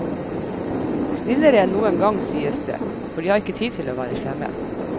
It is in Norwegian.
Snillere enn noen gang, sies det, for de har ikke tid til å være slemme.